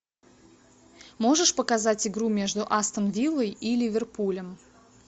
можешь показать игру между астон виллой и ливерпулем